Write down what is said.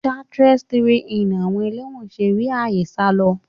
-chartreuse 3ni àwọn ẹlẹ́wọ̀n ṣe rí àyè sálọ?